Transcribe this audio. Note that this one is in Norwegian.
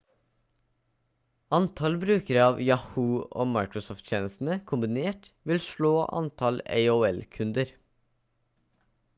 antall brukere av yahoo og microsoft-tjenestene kombinert vil slå antall aol-kunder